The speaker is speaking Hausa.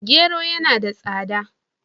Gero yana da tsaba.